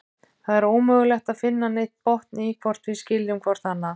Það er ómögulegt að finna neinn botn í, hvort við skiljum hvort annað.